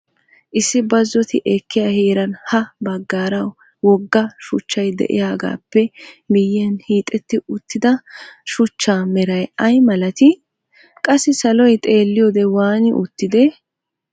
Issi bazzotti ekkiyaa heeran ha bagaara wogga shuchchay de'iyagappe miyiyan hiixxetti uttida shuchchaa meray ay malatii? Qassi saloy xeelliyode waani uttidee?